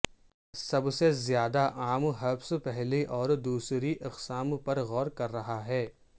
سب سے زیادہ عام ہرپس پہلی اور دوسری اقسام پر غور کر رہا ہے